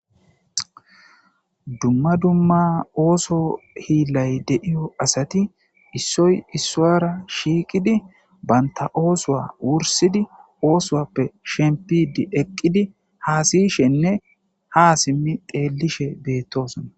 Dumma dumma ooso hiillay de7iyo asati issoy issuwara shiiqidi bantta oosuwa wursidi oosuwappe shempiddi eqqidi haasayishenne ha simmi xeellishe beettoosona.